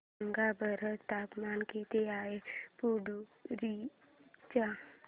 सांगा बरं तापमान किती आहे पुडुचेरी चे